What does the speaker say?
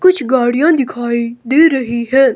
कुछ गाड़ियां दिखाई दे रही है।